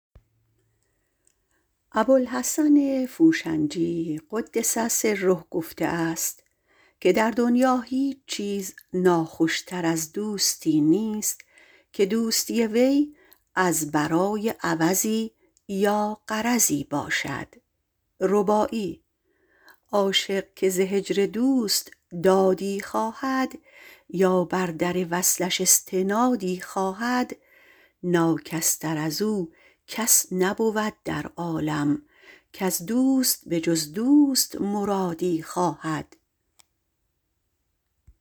ابوالحسن فوشنجی - قدس سره - گفته است که در دنیا هیچ چیز ناخوشتر نیست از دوستی که دوستی وی از برای غرضی یا عوضی باشد عاشق که ز هجر دوست دادی خواهد یا بر در وصلش ایستادی خواهد ناکس تر ازو کس نبود در عالم کز دوست بجز دوست مرادی خواهد